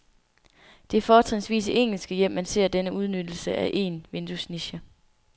Det er fortrinsvis i engelske hjem, man ser denne udnyttelse af en vinduesniche.